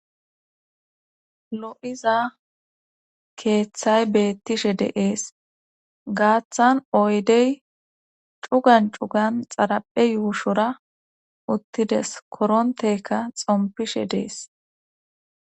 Loy'iza keeththay beettishe deees gaaththan oydey cugan cugan xaraphe yuushora uttides korontekka xompishe dees